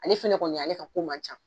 Ale fɛnɛ kɔni ale ka ko man ca